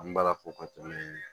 An bɛ ala fo k'o to ye